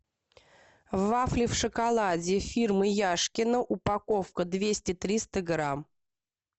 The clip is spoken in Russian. вафли в шоколаде фирмы яшкино упаковка двести триста грамм